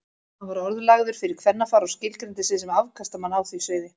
Hann var orðlagður fyrir kvennafar og skilgreindi sig sem afkastamann á því sviði.